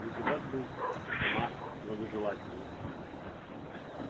депутат был сама благожелательность